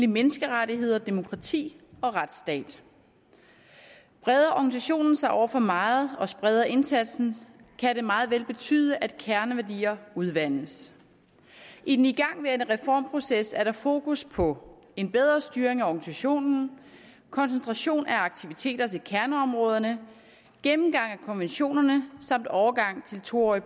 menneskerettigheder demokrati og retsstat breder organisationen sig over for meget og spreder den indsatsen kan det meget vel betyde at kerneværdier udvandes i den igangværende reformproces er der fokus på en bedre styring af organisationen koncentration af aktiviteter til kerneområderne gennemgang af konventionerne samt overgang til et to årig